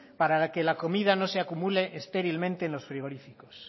para que la comida no se acumule estérilmente en los frigoríficos